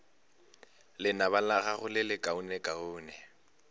lenaba la gago le lekaonekaone